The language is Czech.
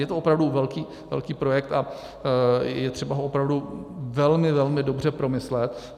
Je to opravdu velký projekt a je třeba ho opravdu velmi, velmi dobře promyslet.